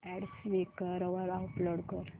add Quikr वर upload कर